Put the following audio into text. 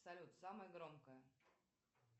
салют самое громкое